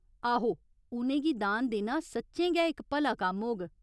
आहो, उ'नें गी दान देना सच्चें गै इक भला कम्म होग।